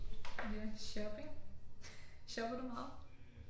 Men ja shopping. Shopper du meget?